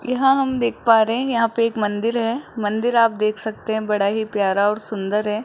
यहां हम देख पा रहे है यहां पे एक मंदिर है। मंदिर आप देख सकते है। बड़ा ही प्यारा और सुंदर है।